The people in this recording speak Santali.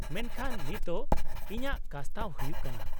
-ᱢᱮᱱᱠᱷᱟᱱ ᱱᱤᱛᱳᱜ ᱤᱧᱟᱹᱜ ᱠᱟᱥᱛᱟᱣ ᱦᱩᱭᱩᱜ ᱠᱟᱱᱟ ᱾